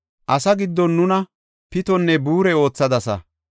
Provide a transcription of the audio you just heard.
Asaa giddon nuna pitonne buure oothadasa.